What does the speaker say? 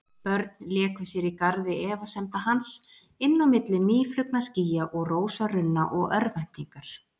Börn léku sér í garði efasemda hans, inn á milli mýflugnaskýja og rósarunna og örvæntingar.